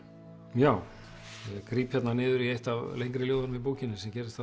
já ég gríp niður í eitt af lengri ljóðunum í bókinni sem gerist